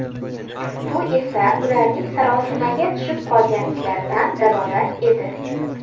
Bu esa ularning sarosimaga tushib qolganliklaridan dalolat edi.